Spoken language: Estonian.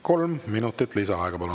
Kolm minutit lisaaega, palun!